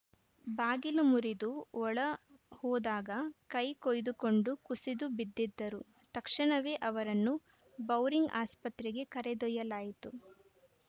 ಬಾಗಿಲು ಮುರಿದು ಒಳ ಹೋದಾಗ ಕೈ ಕೊಯ್ದುಕೊಂಡು ಕುಸಿದು ಬಿದ್ದಿದ್ದರು ತಕ್ಷಣವೇ ಅವರನ್ನು ಬೌರಿಂಗ್‌ ಆಸ್ಪತ್ರೆಗೆ ಕರೆದೊಯ್ಯಲಾಯಿತು